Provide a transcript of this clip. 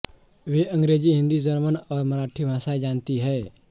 वे अंग्रेजी हिंदी जर्मन और मराठी भाषाएं जानती हैं